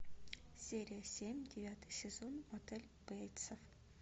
серия семь девятый сезон мотель бейтсов